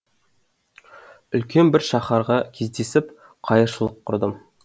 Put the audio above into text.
үлкен бір шаһарға кездесіп қайыршылық құрдым